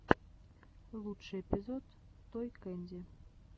лучший эпизод той кэнди